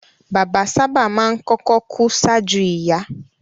Bàbá sábà máa ń kọ́kọ́ ku ṣáájú ìyá